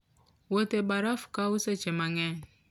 Wuoth e baraf kawo seche mang'eny.